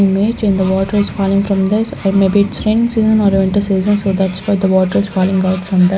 meet in the water is falling from this or maybe it's raining season or winter season so that's why the water is falling out from that --